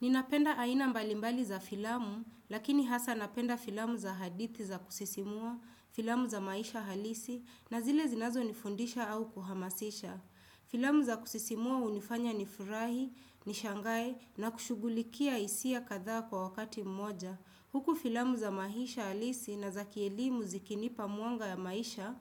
Ninapenda aina mbalimbali za filamu, lakini hasa napenda filamu za hadithi za kusisimua, filamu za maisha halisi, na zile zinazo nifundisha au kuhamasisha. Filamu za kusisimua hunifanya ni furahi, ni shangae, na kushugulikia hisia kadha kwa wakati mmoja. Huku filamu za maisha halisi na za kielimu zikinipa mwanga ya maisha